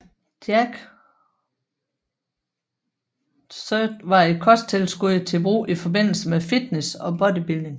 Jack3d var et kosttilskud til brug i forbindelse med fitness og bodybuilding